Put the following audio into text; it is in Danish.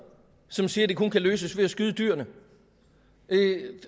som siger at det kun kan løses ved at skyde dyrene